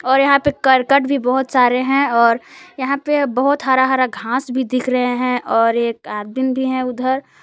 और यहां पे करकट भी बहुत सारे हैं और यहां पे बहुत हरा हरा घास भी दिख रहे हैं और एक आदमीन भी हैं उधर।